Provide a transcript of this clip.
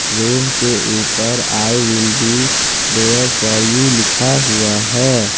Room के ऊपर I will be there for you लिखा हुआ है।